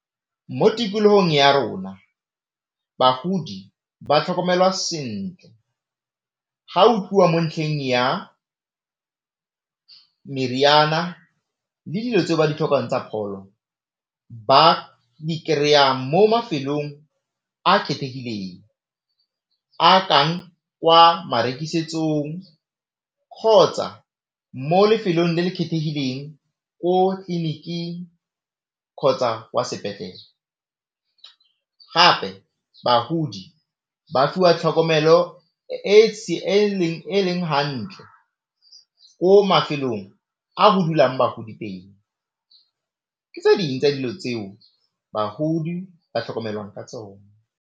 Mo tikologong ya rona bagodi ba tlhokomelwa sentle, ga o bua mo ntlheng ya meriana le dilo tseo ba ditlhokang tsa pholo ba di kry-a mo mafelong a kgethegileng, a kang kwa marekisetsong kgotsa mo lefelong le le kgethegileng ko tleniking kgotsa kwa sepetlele. Gape bagodi ba fiwa tlhokomelo e e leng hantle ko mafelong a go dulang bagodi teng. Tse ding tsa dilo tseo bagodi ba tlhokomelwang ka tsone.